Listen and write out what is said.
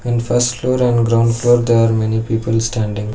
In first floor and ground floor there are many people standing.